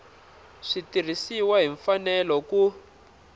swi tirhisiwile hi mfanelo ku